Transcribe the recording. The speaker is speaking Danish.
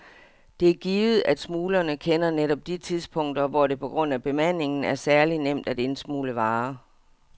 Det er givet, at smuglerne kender netop de tidspunkter, hvor det på grund af bemandingen er særligt nemt at indsmugle varer.